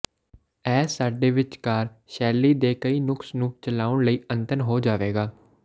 ਇਹ ਸਾਡੇ ਵਿਚਕਾਰ ਸ਼ੈਲੀ ਦੇ ਕਈ ਨੁਕਸ ਨੂੰ ਚਲਾਉਣ ਲਈ ਅਨੰਤ ਹੋ ਜਾਵੇਗਾ